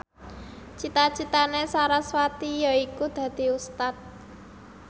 cita citane sarasvati yaiku dadi Ustad